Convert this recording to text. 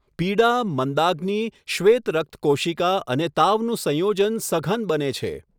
પીડા, મંદાગ્નિ, શ્વેત રક્ત કોશિકા અને તાવનું સંયોજન સઘન બને છે.